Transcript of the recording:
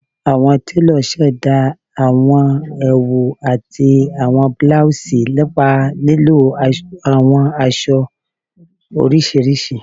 Awọn telo ṣẹda awọn ẹwu ati awọn blouses nipa lilo awọn aṣọ oriṣiriṣi